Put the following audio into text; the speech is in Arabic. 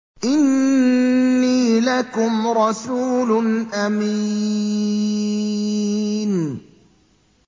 إِنِّي لَكُمْ رَسُولٌ أَمِينٌ